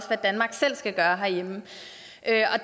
hvad danmark selv skal gøre herhjemme